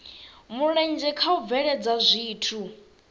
mulenzhe kha u bveledza zwithu